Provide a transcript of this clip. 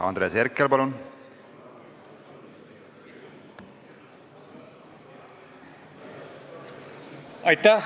Andres Herkel, palun!